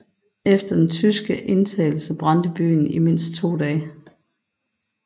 Efter den tyske indtagelse brændte byen i mindst 2 dage